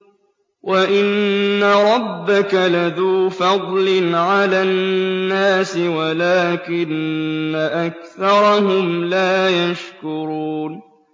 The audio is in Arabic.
وَإِنَّ رَبَّكَ لَذُو فَضْلٍ عَلَى النَّاسِ وَلَٰكِنَّ أَكْثَرَهُمْ لَا يَشْكُرُونَ